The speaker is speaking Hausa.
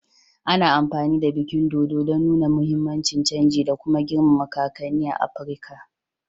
Ana amfani da bikin dodo don nuna muhimmin canji da kuma girmama kakanni a Afirka